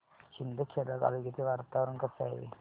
शिंदखेडा तालुक्याचे वातावरण कसे आहे